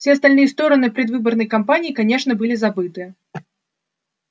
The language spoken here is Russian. все остальные стороны предвыборной кампании конечно были забыты